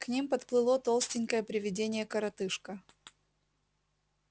к ним подплыло толстенькое привидение-коротышка